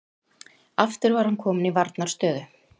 Aftur var hann kominn í varnarstöðu.